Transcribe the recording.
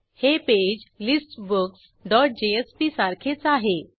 हे page listbooks dot JSP सारखेच आहे